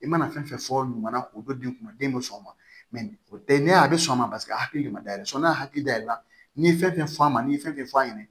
I mana fɛn fɛn fɔ ɲuman na k'o dɔ d'i ma den bɛ sɔn o ma o tɛ ne a bɛ sɔn o ma paseke a tigi ma dayɛlɛ sɔn n'a hakili dayɛlɛn n'i ye fɛn fɛn f'a ma n'i ye fɛn fɛn f'a ɲɛna